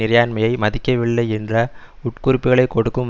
இறையாண்மையை மதிக்கவில்லை என்ற உட்குறிப்புக்களை கொடுக்கும்